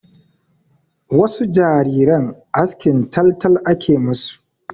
Wasu jariran askin taltal ake ma su.